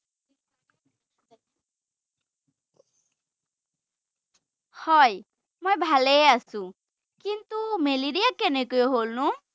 হয়, মই ভালেই আছো ৷ কিন্তু, মেলাৰিয়া কেনেকৈ হ’লনো?